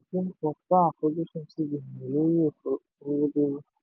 supreme court dá àfojúsùn cbn lórí òfin olówódé rú.